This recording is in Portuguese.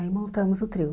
Aí montamos o trio.